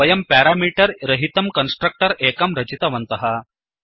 वयं प्यारामीटर् रहितं कन्स्ट्रक्टर् एकं रचितवन्तः